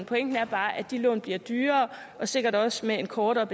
pointen er bare at de lån bliver dyrere og sikkert også med en kortere